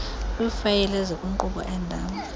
kwiifayile ezikwinkqubo endala